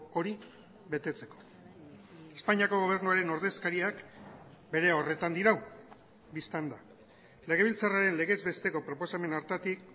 hori betetzeko espainiako gobernuaren ordezkariak bere horretan dirau bistan da legebiltzarraren legez besteko proposamen hartatik